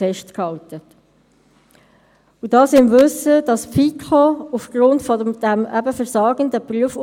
Ich sehe, in der «grünen» Ecke hat es, symbolisch für den guten Ausgang der Thuner Wahlen, ein Präsent.